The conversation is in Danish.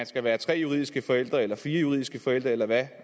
skal være tre juridiske forældre eller fire juridiske forældre eller hvad